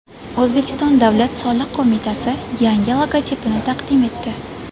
O‘zbekiston Davlat soliq qo‘mitasi yangi logotipini taqdim etdi.